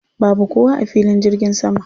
Babu kowa a filin jirgin sama.